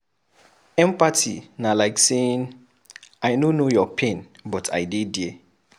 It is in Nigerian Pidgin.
Empathy na like saying " I no know your pain but I dey there".